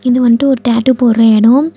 இது வன்ட்டு ஒரு டாட்டூ போடுற எடோ.